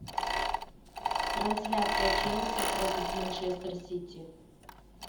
трансляция челси против манчестер сити